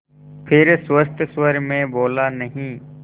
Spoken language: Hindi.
फिर सुस्त स्वर में बोला नहीं